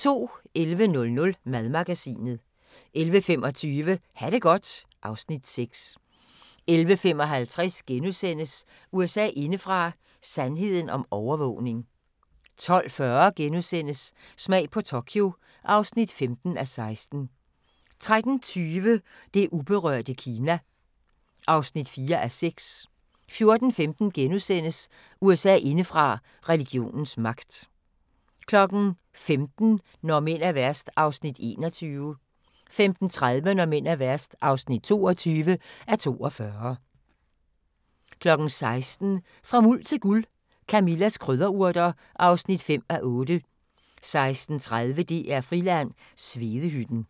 11:00: Madmagasinet 11:25: Ha' det godt (Afs. 6) 11:55: USA indefra: Sandheden om overvågning * 12:40: Smag på Tokyo (15:16)* 13:20: Det uberørte Kina (4:6) 14:15: USA indefra: Religionens magt * 15:00: Når mænd er værst (21:42) 15:30: Når mænd er værst (22:42) 16:00: Fra Muld til Guld – Camillas krydderurter (5:8) 16:30: DR–Friland: Svedehytten